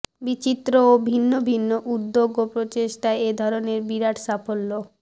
বিচিত্র ও ভিন্ন ভিন্ন উদ্যোগ ও প্রচেষ্টায় এ ধরনের বিরাট সাফল্য